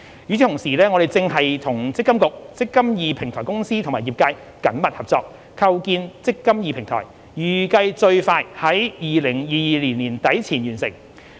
與此同時，我們正與積金局、積金易平台公司和業界緊密合作，構建"積金易"平台，預計最快於2022年年底前完成。